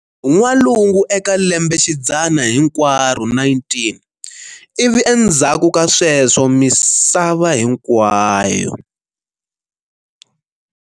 N'walungu eka lembexidzana hinkwaro 19 ivi endzhaku ka sweswo misava hinkwayo.